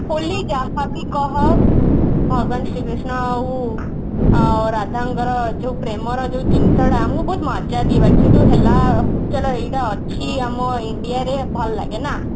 ହୋଲି ଯାହାବି କହ ଭଗବାନ ଶ୍ରୀ କୃଷ୍ଣ ଆଉ ରାଧାଙ୍କର ଯୋଉ ପ୍ରେମର ଯୋଉ ଜିନିଷଟା ଆମକୁ ବହୁତ ମଜା ଦିଏ ବାକି ହେଲା ଚଳୋ ଏଇଟା ଅଛି ଆମ india ରେ ଭଲଲାଗେ ନା